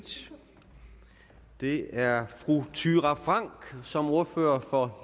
det er fru thyra frank som ordfører for